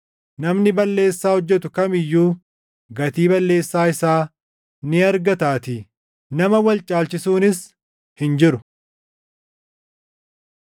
Namni balleessaa hojjetu kam iyyuu gatii balleessaa isaa ni argataatii; nama wal caalchisuunis hin jiru.